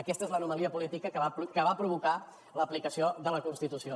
aquesta és l’anomalia política que va provocar l’aplicació de la constitució